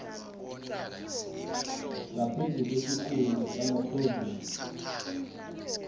ngaphezu kwesiquntu samaphrovinsi